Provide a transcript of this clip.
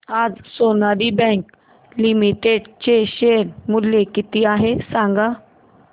आज Sonali bank limited चे share मूल्य किती आहे सांगा